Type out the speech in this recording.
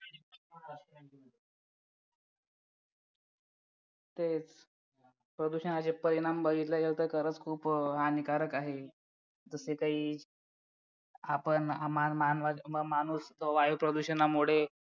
तेच प्रदूषणाचे परिणाम बघितल्या गेले तर खरंच खूपच हानिकारक आहेत जसे काही आपण माणूस वायू प्रदूषणामुळे